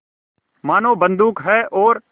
मानो बंदूक है और